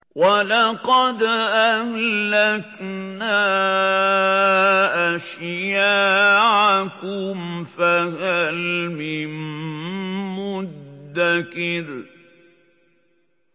وَلَقَدْ أَهْلَكْنَا أَشْيَاعَكُمْ فَهَلْ مِن مُّدَّكِرٍ